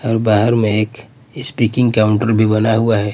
और बाहर में एक स्पीकिंग काउंटर भी बना हुआ हैं।